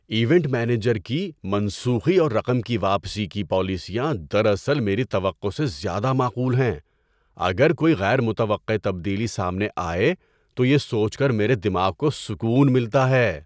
Event manager کی منسوخی اور رقم کی واپسی کی پالیسیاں دراصل میری توقع سے زیادہ معقول ہیں۔ اگر کوئی غیر متوقع تبدیلی سامنے آئے تو یہ سوچ کر میرے دماغ کو سکون ملتا ہے۔